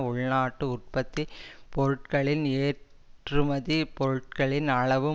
உள்நாட்டு உற்பத்தி பொருட்களில் ஏற்றுமதி பொருட்களின் அளவு